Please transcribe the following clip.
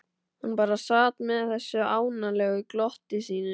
Hann bara sat með þessu ánalega glotti sínu.